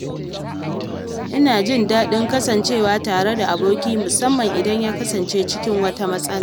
Ina jin daɗin kasancewa tare da aboki musamman idan ya kasance cikin wata matsala.